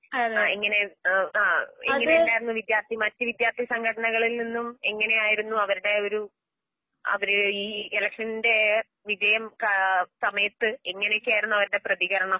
ആ എങ്ങനെയും അംഅ ഇങ്ങനെയല്ലാർന്നുവിദ്യാർത്ഥി മറ്റുവിദ്യാർഥിസംഘടനകളിൽനിന്നും എങ്ങനെയായിരുന്നു അവരുടെ ഒരു അവര്ഈഎലെക്ഷൻറെ വിജയം കാ സമയത്ത് എങ്ങനെയൊക്കെയായിരുന്നുഅവരുടെപ്രതികരണം